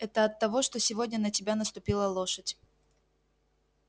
это от того что сегодня на тебя наступила лошадь